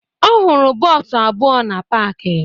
Ọ hụrụ bọọsụ abụọ na paakị